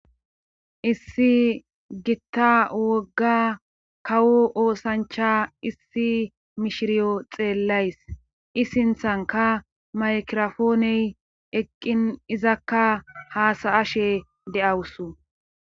Issi gitta wogga kawo oosancha issi mishiriyo xeellayis.I sinthanikka maykirafooney eqqin izakka haasaashe de'awusu.